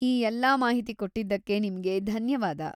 ಈ ಎಲ್ಲಾ ಮಾಹಿತಿ ಕೊಟ್ಟಿದ್ದಕ್ಕೆ ನಿಮ್ಗೆ ಧನ್ಯವಾದ.